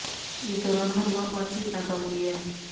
इस दौरान हर बार बातचीत नाकाम हुई है